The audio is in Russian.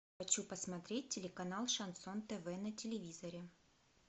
хочу посмотреть телеканал шансон тв на телевизоре